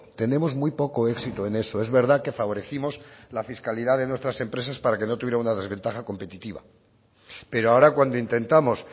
tenemos muy poco éxito en eso es verdad que favorecimos la fiscalidad de nuestras empresas para que no tuviera una desventaja competitiva pero ahora cuando intentamos